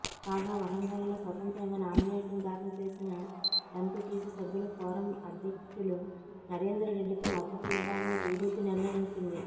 కాగా వరంగల్లో స్వతంత్రంగా నామినేషన్ దాఖలు చేసిన ఎంపిటిసి సభ్యుల ఫోరం అధ్యక్షులు నరేందర్రెడ్డికి మద్దతు ఇవ్వాలని టిడిపి నిర్ణయించింది